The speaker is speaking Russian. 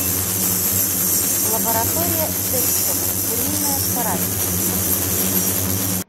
лаборатория декстера куриная царапина запусти